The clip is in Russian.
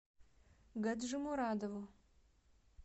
гаджимурадову